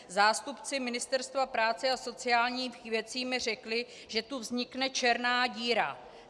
Zástupci Ministerstva práce a sociálních věcí mi řekli, že tu vznikne černá díra.